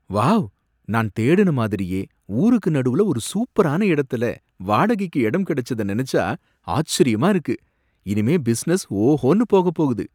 Wow! நான் தேடுன மாதிரியே ஊருக்கு நடுவுல ஒரு சூப்பரான இடத்துல வாடகைக்கு இடம் கிடைச்சத நெனச்சா ஆச்சரியமா இருக்கு! இனிமே பிசினஸ் ஓஹோனு போகப் போகுது.